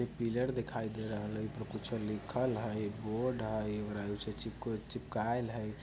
इ पिलर देखाई दे रहल हय ई पर कुछो लिखल हय बोर्ड हय ओकरा चिपको चिपकाइल हय।